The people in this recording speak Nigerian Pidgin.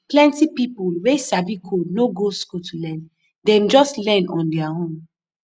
plenty people wey sabi code no go school to learn dem just learn on their own